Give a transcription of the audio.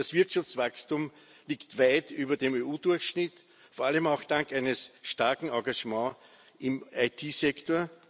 Das Wirtschaftswachstum liegt weit über dem EU Durchschnitt, vor allem auch dank eines starken Engagements im IT Sektor.